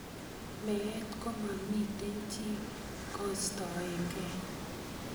Meet komamitei chi koistoegee.